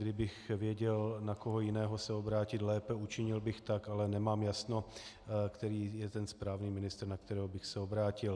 Kdybych věděl, na koho jiného se obrátit lépe, učinil bych tak, ale nemám jasno, který je ten správný ministr, na kterého bych se obrátil.